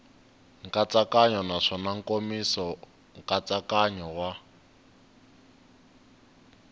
nkatsakanyo naswona nkomiso nkatsakanyo wa